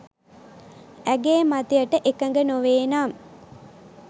ඇගේ මතයට එකඟ නොවේ නම්